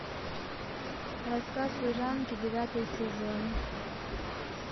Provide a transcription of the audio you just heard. рассказ служанки девятый сезон